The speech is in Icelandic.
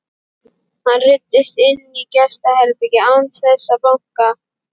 Hann ruddist inn í gestaherbergið án þess að banka.